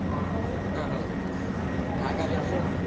ಹ್ಮ್ ಹೌದು .